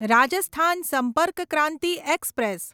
Rajasthan Sampark Kranti express